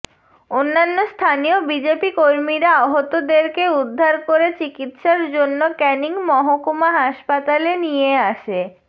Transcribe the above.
অন্যান্য স্থানীয় বিজেপি কর্মীরা আহতদেরকে উদ্ধার করে চিকিৎসার জন্য ক্যানিং মহকুমা হাসপাতালে নিয়ে আসে